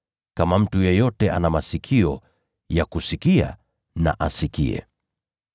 Kama mtu yeyote ana masikio ya kusikia na asikie.]”